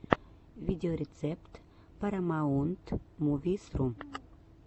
видеорецепт парамаунтмувисру